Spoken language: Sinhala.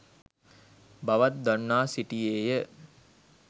බවත් දන්වා සිටියේය.